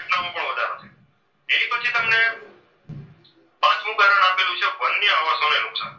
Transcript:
પાંચમું કારણ આપેલું છે વન્ય આવાસોને નુકસાન.